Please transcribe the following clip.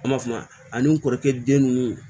An b'a f'a ma ani n kɔrɔkɛ den nunnu